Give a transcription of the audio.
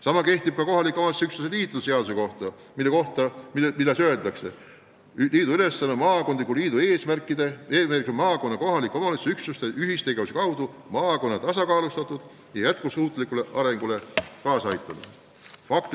Sama kehtib ka kohaliku omavalitsuse üksuste liitude seaduse kohta, milles öeldakse, et maakondliku liidu eesmärk on maakonna kohaliku omavalitsuse üksuste ühistegevuse kaudu maakonna tasakaalustatud ja jätkusuutlikule arengule kaasaaitamine.